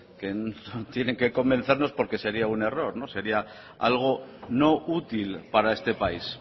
que tienen que convencernos porque sería un error no sería algo no útil para este país